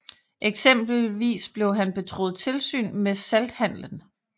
Eksempelvis blev han betroet tilsyn med salthandelen